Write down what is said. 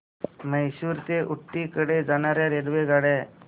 म्हैसूर ते ऊटी कडे जाणार्या रेल्वेगाड्या